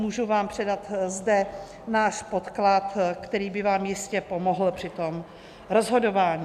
Můžu vám zde předat náš podklad, který by vám jistě pomohl při tom rozhodování.